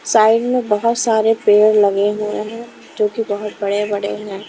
Side में बहुत सारे पेड़ लगे हुए हैंजो कि बहुत बड़े-बड़े हैं।